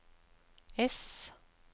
S